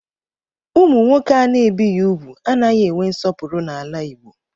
Ụmụ nwoke ana-ebighi úgwù anaghị enwe nsọpụrụ n'ala Igbo